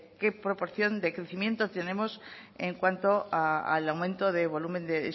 qué proporción de crecimiento tenemos en cuanto al aumento de volumen de